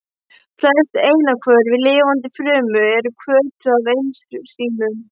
Flest efnahvörf í lifandi frumu eru hvötuð af ensímum.